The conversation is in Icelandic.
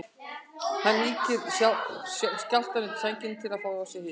Hann ýkir skjálftann undir sænginni til að fá í sig hita.